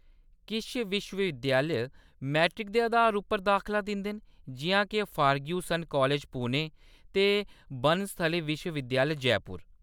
किश विश्व-विद्यालय मैरिट दे अधार उप्पर दाखला दिंदे न, जिʼयां के फर्ग्यूसन कालेज, पुणे ते बनस्थली विश्व-विद्यालय, जयपुर।